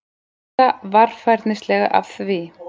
spurði Elsa varfærnislega af því